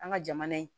An ka jamana in